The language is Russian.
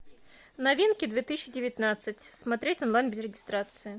новинки две тысячи девятнадцать смотреть онлайн без регистрации